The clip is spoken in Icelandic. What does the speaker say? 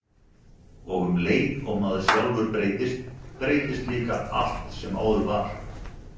Og um leið og maður sjálfur breytist, breytist líka allt sem áður var.